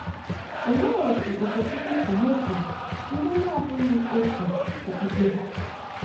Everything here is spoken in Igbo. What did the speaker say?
Olee otú Okechukwu si mesoo ndị na-abụghị otu okpukpe ha?